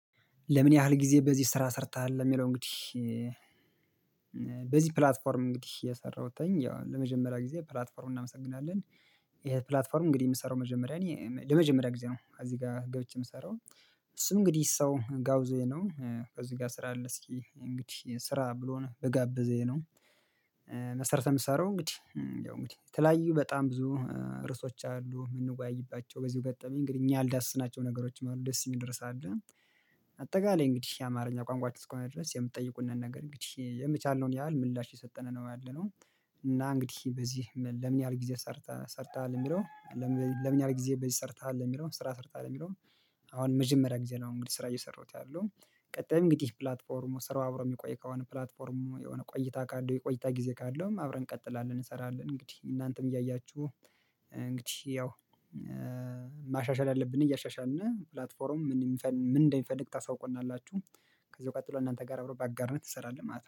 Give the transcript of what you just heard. ለምን ያህል ጊዜ በዚህ ስራ ሰርተሃል የሚለው እንግዲህ? በዚህ ፕላትፎርም እንግዲህ የሰራሁት ያው ለመጀመሪያ ጊዜ ፕላትፎርሙን እናመሰግናለን። ይሄ ፕላትፎርም እንግዲህ የምሰራው መጀመሪያ እኔ ለመጀመሪያ ጊዜ ነው እዚህ ጋር ገብቼ የምሰራው። እሱም እንግዲህ ሰው ጋብዞኝ ነው እዚህ ጋር ስራ አለ እስኪ እንግዲህ ስራ ብሎ በጋበዘኝ። መሰረት ነው የምሰራው እንግዲህ ያው እንግዲህ የተለያዩ በጣም ብዙ ርዕሶች አሉ የምንወያይባቸው በዚሁ ገጠመኝ እንግዲህ እኛ ያልዳሰስናቸው ነገሮችም አሉ ደስ የሚል ርዕስ አለ። አጠቃላይ እንግዲህ የአማርኛ ቋንቋችሁ እስከሆነ ድረስ የምትጠይቁንን ነገር እንግዲህ የቻልነውን ያህል ምላሽ እየሰጠን ነው ያለነው። እና እንግዲህ በዚህ ለምን ያህል ጊዜ ሰርተሃል የሚለው? ለምን ያህል ጊዜ በዚህ ሰርተሃል የሚለውን ስራ ሰርተሃል የሚለውን? አሁን መጀመሪያ ጊዜ ነው እንግዲህ ስራ እየሰራሁት ያለው። ቀጣይም እንግዲህ ፕላትፎርሙ ስራው አብሮ የሚቆይ ከሆነ ፕላትፎርሙ የሆነ ቆይታ ካለው የቆይታ ጊዜ ካለውም አብረን እንቀጥላለን እንሰራለን እንግዲህ እናንተም እያያችሁ። እንግዲህ ያው ማሻሻል ያለብን እያሻሻልን ፕላትፎርም ምን እንደሚፈልግ ታሳውቁናላችሁ። ከዚህ ቀጥሎ እናንተ ጋር አብሮ በአጋርነት እንሰራለን ማለት ነው